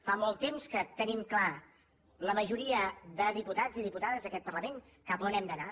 fa molt temps que tenim clar la majoria de diputats i diputades d’aquest parlament cap a on hem d’anar